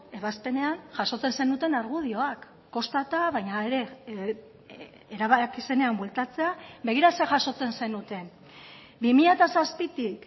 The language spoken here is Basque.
ebazpenean jasotzen zenuten argudioak kostata baina ere erabaki zenean bueltatzea begira zer jasotzen zenuten bi mila zazpitik